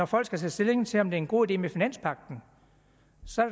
folk skal tage stilling til om det er en god idé med finanspagten